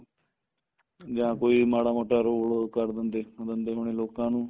ਜਾਂ ਕੋਈ ਮਾੜਾ ਮੋਟਾ role ਉਹ ਕਰ ਦਿੰਦੇ ਦਿੰਦੇ ਹੋਣੇ ਲੋਕਾ ਨੂੰ